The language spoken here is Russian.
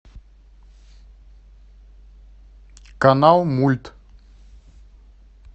канал мульт